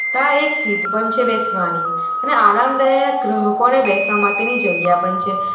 આ એક સીત પણ છે બેસવાની અને આરામદાયક ગ્રાહકોને બેસવાની માતેની જગ્યા પણ છે.